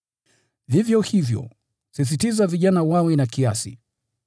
Vivyo hivyo, himiza vijana wawe na kiasi.